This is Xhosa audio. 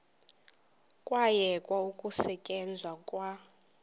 kwayekwa ukusetyenzwa kwa